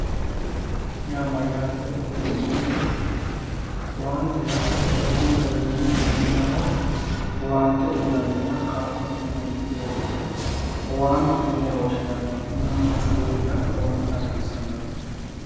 owaante yaa mayaatero dibuxoomo yooto awante yaa ikiyo garinni mannaho owaante uyiinanninna kaalo uyiinanni doogo owaantete yine woshshinanni tinino manchu beettira lowontta hasiissannote